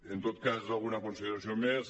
en tot cas alguna consideració més